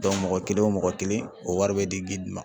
mɔgɔ kelen o mɔgɔ kelen o wari bɛ di ma